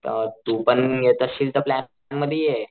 अ तू पण येत असशील तर प्लॅन मध्ये ये.